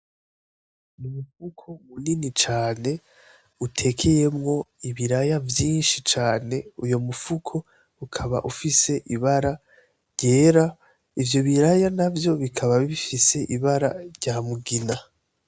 Umufuko munini cane utekeyemwo ibiraya vyinshi cane, uyu mufuko ukaba ufise ibara ryera, ivyo biraya navyo bikaba bifise ibara rya mugina.